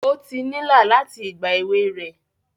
O ti nila láti ìgbà èwe rẹ